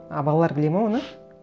а балалар біледі ме оны